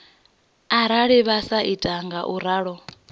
arali vha sa ita ngauralo